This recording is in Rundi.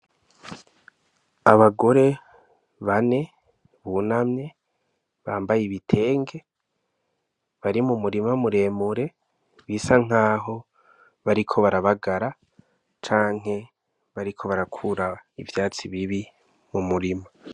Abagore bane bunamye bambaye ibitenge bari mu murima mu remure bisa nkaho bariko barabagara canke bariko barakura ivyatsi bibi mu murima.